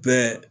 Bɛɛ